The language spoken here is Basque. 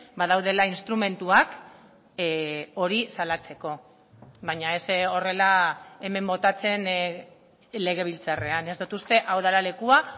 badaudela instrumentuak hori salatzeko baina ez horrela hemen botatzen legebiltzarrean ez dut uste hau dela lekua